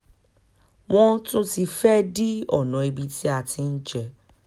wọ́n ti tún fẹ́ẹ́ dí ọ̀nà ibi tí a ti ń jẹ